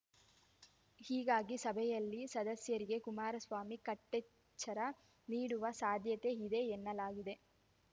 ಹೀಗಾಗಿ ಸಭೆಯಲ್ಲಿ ಸದಸ್ಯರಿಗೆ ಕುಮಾರಸ್ವಾಮಿ ಕಟ್ಟೆಚ್ಚರ ನೀಡುವ ಸಾಧ್ಯತೆ ಇದೆ ಎನ್ನಲಾಗಿದೆ